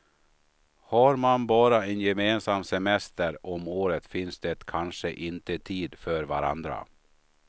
Har man bara en gemensam semester om året finns det kanske inte tid för varandra.